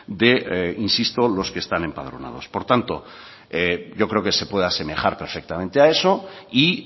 de los que están empadronados por tanto yo creo que se pueda asemejar perfectamente a eso y